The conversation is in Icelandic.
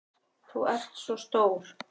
Þú ert svo stór.